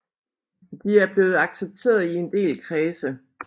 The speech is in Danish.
De er blevet accepteret i en del kredse